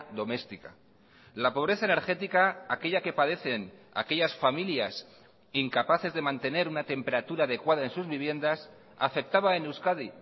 doméstica la pobreza energética aquella que padecen aquellas familias incapaces de mantener una temperatura adecuada en sus viviendas afectaba en euskadi